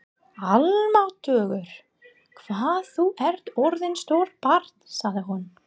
Almáttugur hvað þú ert orðinn stór barn sagði hún.